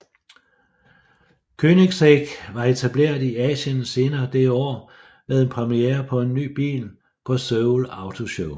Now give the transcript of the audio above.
Koenigsegg var etableret i Asien senere det år med en premiere på en ny bil på Seoul Auto Show